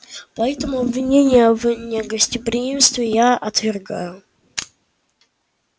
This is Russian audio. поэтому обвинения в негостеприимстве я отвергаю